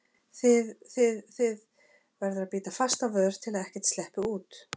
þið þið, þið- verður að bíta fast á vör til að ekkert sleppi út.